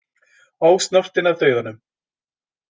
Ósnortinn af dauðanum.